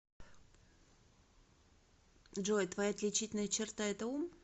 джой твоя отличительная черта это ум